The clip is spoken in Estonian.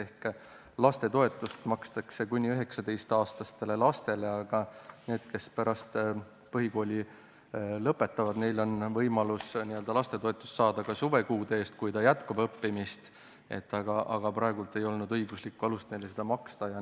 Ehk lastetoetust makstakse kuni 19-aastastele lastele, aga neil, kes pärast põhikooli lõpetavad, on võimalus n-ö lastetoetust saada ka suvekuude eest, kui jätkata õppimist, aga praegu ei olnud õiguslikku alust neile seda maksta.